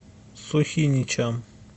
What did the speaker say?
сухиничам